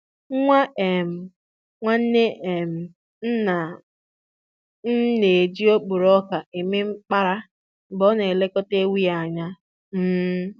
Nwa um nwanne um nna m na-eji okporo ọka eme mkpara mgbe ọ na-elekọta ewu ya anya. um